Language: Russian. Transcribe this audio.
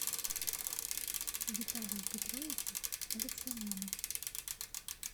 виталию петровичу алексаняну